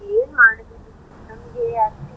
ಏನ್ ಮಾಡೋದು ನಮ್ಗೆ